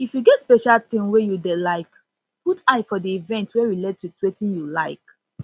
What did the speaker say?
if you get special thing wey you dey like put eye for di event wey relate with wetin you like